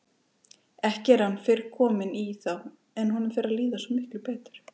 Ekki er hann fyrr kominn í þá en honum fer að líða svo miklu betur.